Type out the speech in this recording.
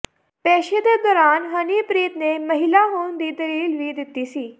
ਪੇਸ਼ੀ ਦੇ ਦੌਰਾਨ ਹਨੀਪ੍ਰੀਤ ਨੇ ਮਹਿਲਾਂ ਹੋਣ ਦੀ ਦਲੀਲ ਵੀ ਦਿੱਤੀ ਸੀ